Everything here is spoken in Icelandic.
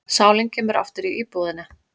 Sálin kemur aftur í íbúðina.